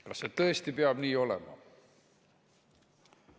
Kas see tõesti peab nii olema?